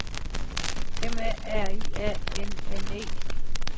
M A R I A N N E